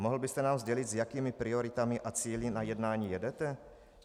Mohl byste nám sdělit, s jakými prioritami a cíli na jednání jedete?